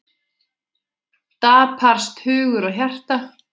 Daprast hugur og hjarta.